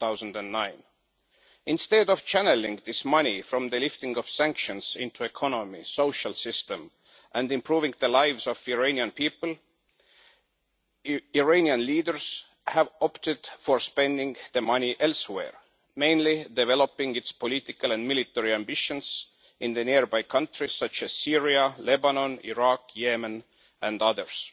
2009. Instead of channelling this money from the lifting of sanctions into the economy and the social system, and improving the lives of the Iranian people, Iranian leaders have opted for spending the money elsewhere, mainly developing Iran's political and military ambitions in nearby countries such as Syria, Lebanon, Iraq, Yemen and others.